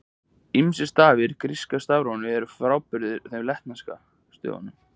Ýmsir stafir í gríska stafrófinu eru frábrugðnir latneskum stöfum.